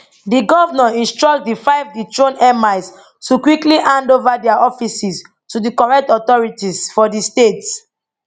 di govnor instruct di five dethroned emirs to quickly hand ova dia offices to di correct authorities for di state